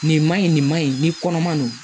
Nin man ɲi nin man ɲi ni kɔnɔma don